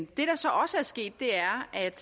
det der så også er sket er er at